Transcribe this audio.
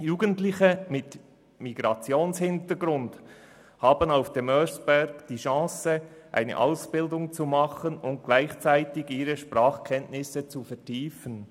Jugendliche mit Migrationshintergrund haben auf dem Oeschberg die Möglichkeit, eine Ausbildung zu absolvieren und gleichzeitig ihre Sprachkenntnisse zu vertiefen.